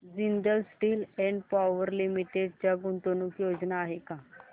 Jindal steel and power limited च्या गुंतवणूक योजना आहेत का